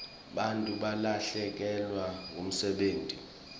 bantfu balahlekelwa ngumsebenti